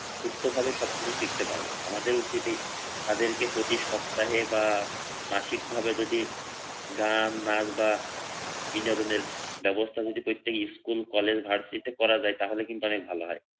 সুস্থভাবে সবকিছু শিখতে পারবে না আমাদের উচিত তাদেরকে প্রতি সপ্তাহে বা মাসিক ভাবে যদি গান নাচ বা বিনোদনের ব্যবস্থা যদি প্রত্যেক স্কুল কলেজ ভার্সিটি তে করা যায় তাহলে কিন্তু অনেক ভালো হয়।